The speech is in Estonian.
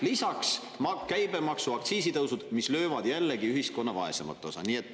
Lisaks käibemaksu-, aktsiisitõusud, mis löövad jällegi ühiskonna vaesemat osa.